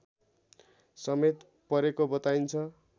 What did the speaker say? समेत परेको बताइन्छ